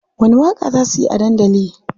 Wani waƙa za suyi a dandali?